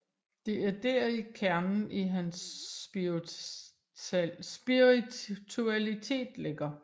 Det er deri kernen i hans spiritualitet ligger